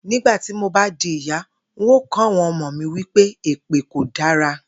Nígbà tí mo bá di ìyá, n óò kó̩ àwo̩n omo mi wí pé èpè kò dára